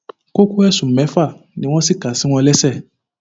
kókó ẹsùn mẹfà ni wọn sì kà sí wọn lẹsẹ